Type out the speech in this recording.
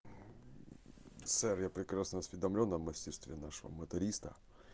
сэр я прекрасно осведомлён о мастерстве нашего моториста